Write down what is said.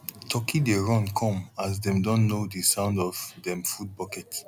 turkey dey run come as dem don know di sound of dem food bucket